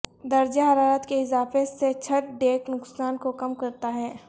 درجہ حرارت کے اضافے سے چھت ڈیک نقصان کو کم کرتا ہے